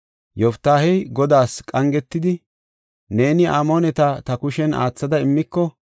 Yoftaahey Godaas qangetidi, “Neeni Amooneta ta kushen aathada immiko,